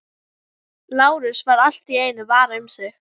Lárus varð allt í einu var um sig.